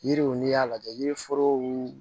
Yiriw n'i y'a lajɛ yiriforow